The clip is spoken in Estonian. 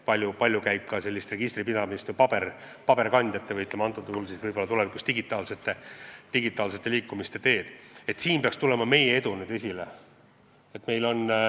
Paljus käib registri pidamine digitaalselt ja see peaks meile edu tähendama.